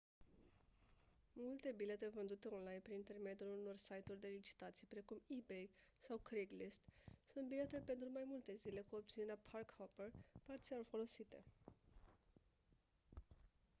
multe bilete vândute online prin intermediul unor site-uri de licitații precum ebay sau craigslist sunt bilete pentru mai multe zile cu opțiunea park-hopper parțial folosite